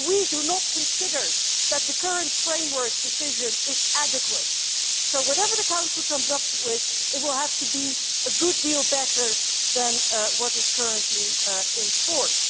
But we do not consider that the current framework decision is adequate, so whatever the Council comes up with, it will have to be a good deal better than what is currently in force.